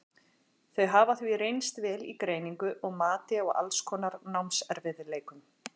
þau hafa því reynst vel í greiningu og mati á alls konar námserfiðleikum